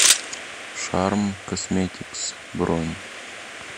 шарм косметикс бронь